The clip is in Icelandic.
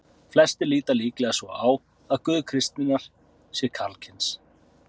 Flestir líta líklega svo á að Guð kristninnar sé karlkyns.